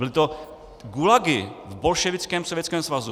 Byly to gulagy v bolševickém Sovětském svazu.